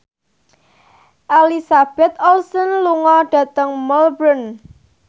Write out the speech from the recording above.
Elizabeth Olsen lunga dhateng Melbourne